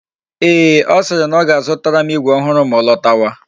Ee, ọ siri na ọ ga-azutara m igwe ọhụrụ ma ọ lọtawa